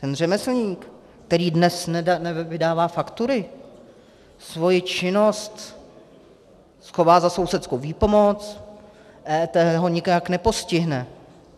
Ten řemeslník, který dnes nevydává faktury, svoji činnost schová za sousedskou výpomoc, EET ho nijak nepostihne.